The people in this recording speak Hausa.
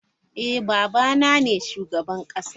Eh, Baba na ne shugaban kasa.